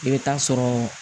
I bɛ taa sɔrɔ